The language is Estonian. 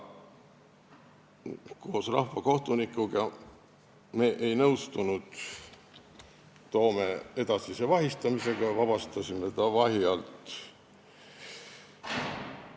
Koos rahvakohtunikuga ei nõustunud me Toome edasise vahi all pidamisega, me vabastasime ta vahi alt.